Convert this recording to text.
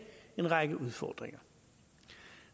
en række udfordringer